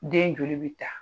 Den joli bi ta.